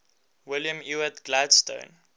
william ewart gladstone